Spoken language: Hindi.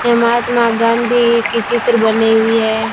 ये महात्मा गांधी की चित्र बने हुई है।